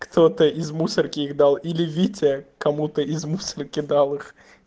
кто-то из мусорки их дал или витя кому-то из мусора кидал их